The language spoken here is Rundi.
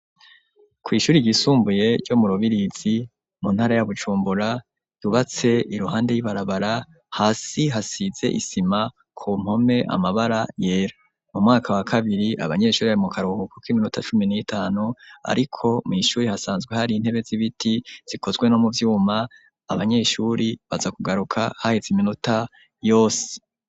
Ku ishuri ryisumbuye ryo mu Rubirizi mu ntara ya Bujumbura yubatse iruhande y'ibarabara hasi hasize isima ku mpome amabara yera mu mwaka wa kabiri abanyeshuri bari mu karuhuku k'iminota cumi n'itanu ariko mw'ishuri hasanzwe hari intebe z'ibiti zikozwe no mu vyuma abanyeshuri baza kugaruka haheze iminota yose.